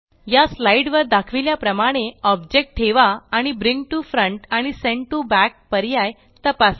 या स्लाईड वर दाखविल्या प्रमाणे ऑब्जेक्ट ठेवा आणि ब्रिंग टीओ फ्रंट आणि सेंट टीओ बॅक पर्याय तपासा